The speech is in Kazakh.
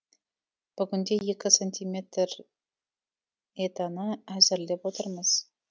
бүгінде екі сантиметр етаны әзірлеп отырмыз